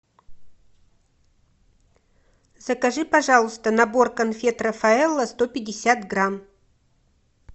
закажи пожалуйста набор конфет рафаэлло сто пятьдесят грамм